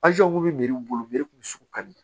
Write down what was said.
yiri bolo mi kun sugu ka di